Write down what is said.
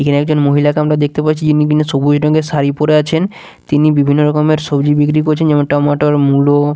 এখানে একজন মহিলাকে আমরা দেখতে পাচ্ছি যিনি কি না সবুজ রঙের শাড়ি পরে আছেন তিনি বিভিন্ন রকমের সবজি বিক্রি করছেন যেমন টমাটর মূলো।